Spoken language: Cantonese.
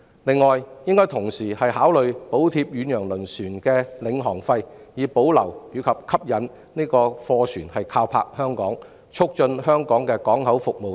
此外，政府應同時考慮補貼遠洋輪船的領航費以保持和吸引貨船靠泊香港，以及促進香港的港口服務等。